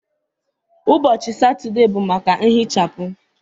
Ụbọchị Satọde bụ maka nhichapụ.